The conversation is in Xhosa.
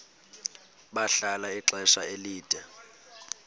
bahlala ixesha elide